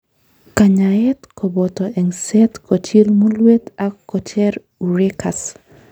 Kanyaet koboto eng'set kochil mulwet ak kocher urachus.